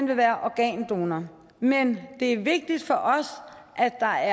vil være organdonorer men det er vigtigt for os at der